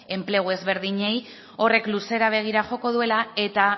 enplegu ezberdinei horrek luzera begira joko duela eta